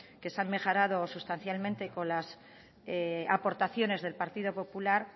que se han mejorado sustancialmente con las aportaciones del partido popular